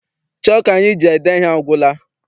Chọku anyị ji ede ihe agwụla.